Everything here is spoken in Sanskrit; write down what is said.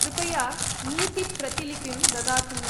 कृपया नीतिप्रतिलिपिं ददातु।